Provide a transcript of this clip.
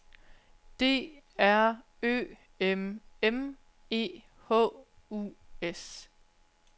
D R Ø M M E H U S